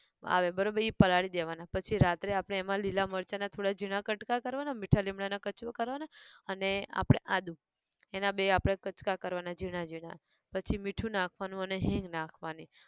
આવે બરોબર ઈ પલાળી દેવાના પછી રાત્રે આપણે એમાં લીલાં મરચાં ના થોડા ઝીણાં કટકા કરવાનાં મીઠા લીમડા ના કચુઆ કરવાનાં અને આપણે આદું, એના બે આપણે કટકા કરવાના ઝીણાં ઝીણાં, પછી મીઠું નાખવાનું અને હિંગ નાખવાની